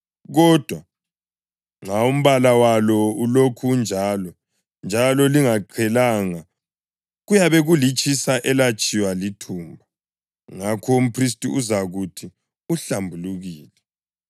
Kodwa nxa umbala walo ulokhu unjalo, njalo lingaqhelanga, kuyabe kulitshisa elatshiywa lithumba, ngakho umphristi uzakuthi uhlambulukile.